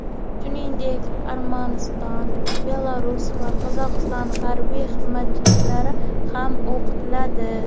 Shuningdek, Armaniston, Belarus va Qozog‘iston harbiy xizmatchilari ham o‘qitiladi.